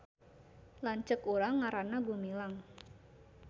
Lanceuk urang ngaranna Gumilang